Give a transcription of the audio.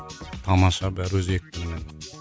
тамаша бәрі өз екпінімен